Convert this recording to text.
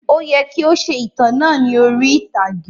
Ó yẹ kii ó ṣe ìtàn náà ni orí ìtàgé